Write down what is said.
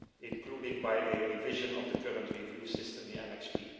including by a revision of the current review system, Annex B.